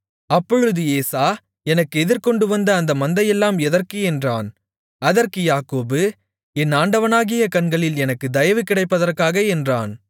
அப்பொழுது ஏசா எனக்கு எதிர்கொண்டுவந்த அந்த மந்தையெல்லாம் எதற்கு என்றான் அதற்கு யாக்கோபு என் ஆண்டவனுடைய கண்களில் எனக்கு தயவு கிடைப்பதற்காக என்றான்